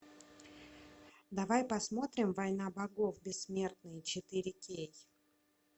давай посмотрим война богов бессмертные четыре кей